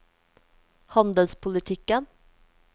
handelspolitikken